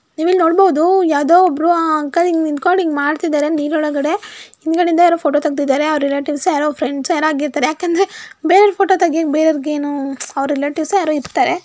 ನೀವ್ ಇಲ್ಲಿ ನೋಡಬಹುದು ಯಾವ್ದೋ ಒಬ್ರು ಅಂಕಲ್ ಹಿಂಗ್ ನಿಂತ್ಕೊಂಡು ಹಿಂಗ್ ಮಾಡ್ತಾ ಇದ್ದಾರೆ ನೀರ್ ಒಳಗಡೆ ಹಿಂದ್ಗಡೆಯಿಂದ ಯಾರೋ ಫೋಟೋ ತೆಗ್ದಿದ್ದಾರೆ ಅವ್ರ್ ರಿಲೇಟಿವ್ಸೋ ಫ್ರೆಂಡ್ಸೋ ಯಾರೋ ಆಗಿರ್ತಾರೆ ಯಾಕಂದ್ರೆ ಬೇರೆಯವರ್ ಫೋಟೋ ತಗೋಯೋಕೆ ಬೇರೆಯವರಿಗೇನೋ ಅವ್ರ್ ರಿಲೇಟಿವ್ಸೋ ಯಾರೋ ಇರ್ತಾರೆ.